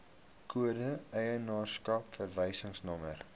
kode eienaarskap verwysingsnommer